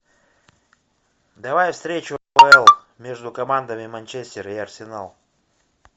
давай встречу апл между командами манчестер и арсенал